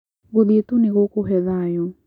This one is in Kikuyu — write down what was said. Gũthiĩ tu nĩ gũkũhe thayũ.